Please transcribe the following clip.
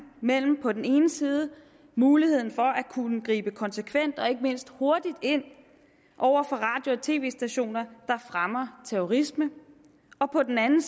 mellem på den ene side muligheden for at kunne gribe konsekvent og ikke mindst hurtigt ind over for radio og tv stationer der fremmer terrorisme og på den anden